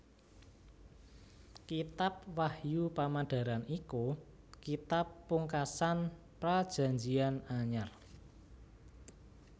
Kitab Wahyu Pamedaran iku kitab pungkasan Prajanjian Anyar